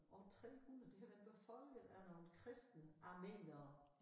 År 300 det har været befolket af nogle kristne armenere